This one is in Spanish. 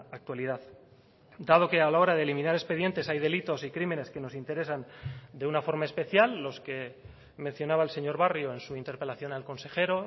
actualidad dado que a la hora de eliminar expedientes hay delitos y crímenes que nos interesan de una forma especial los que mencionaba el señor barrio en su interpelación al consejero